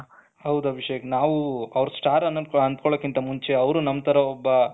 ಹೌದು ಅಭಿಷೇಕ್ ನಾವು ಅವರು ಸ್ಟಾರ್ ಅಂತ ಅಂದ್ಕೊಳೋ ಮುಂಚೆಅವರು ನಮ್ಮ ತರ ಒಬ್ಬ